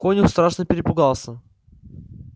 конюх страшно перепугался